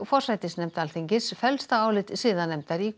forsætisnefnd Alþingis fellst á álit siðanefndar í